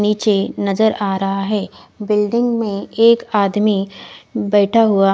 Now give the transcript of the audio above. निचे नजर आ रहा है बिल्डिंग में एक आदमी बेठा हुआ--